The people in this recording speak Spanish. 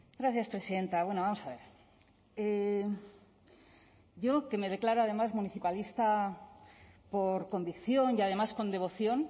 gracias presidenta bueno vamos a ver yo que me declaro además municipalista por convicción y además con devoción